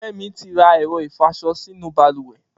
Femi ti rà ẹ̀rọ̀ ifọṣọ sinú bàlùwẹ̀